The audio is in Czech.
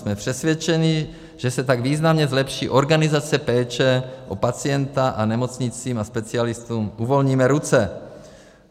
Jsme přesvědčeni, že se tak významně zlepší organizace péče o pacienta a nemocnicím a specialistům uvolníme ruce.